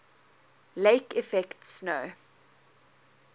lake effect snow